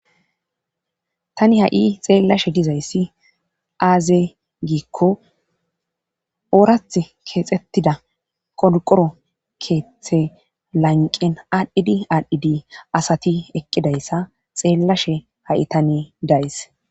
Tani ha7i xeellashe dizayssi aaze giikko oorath keexxettida qodqoro keeththe lanqen aadhdhidi aadhdhidi asati eqqidayssa xeellashe ha7i tani days.